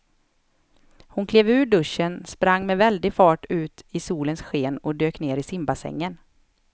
Hon klev ur duschen, sprang med väldig fart ut i solens sken och dök ner i simbassängen.